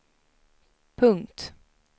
punkt